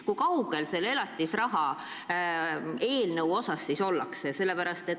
Kui kaugel selle elatisraha eelnõuga ollakse?